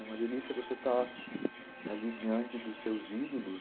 É uma delícia você estar ali diante dos seus ídolos.